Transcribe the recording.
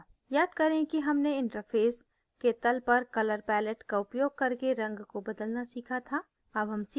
याद करें कि हमने इंटरफैस के तल पर color palette का उपयोग करके रंग को बदलना सीखा था